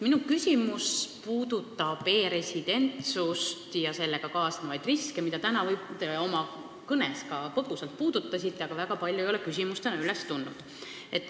Minu küsimus puudutab e-residentsust ja sellega kaasnevaid riske, mida te täna oma kõnes ka põgusalt puudutasite, aga väga palju ei ole küsimustena üles tulnud.